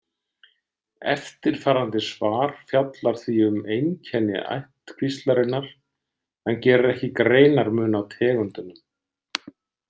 Eftirfarandi svar fjallar því um einkenni ættkvíslarinnar en gerir ekki greinarmun á tegundunum.